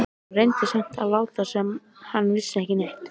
Hann reyndi samt að láta sem hann vissi ekki neitt.